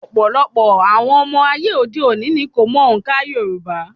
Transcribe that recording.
Ọ̀pọ̀lọpọ̀ àwọn ọmọ ayé òde òni ni kò mọ òǹkà Yorùbá.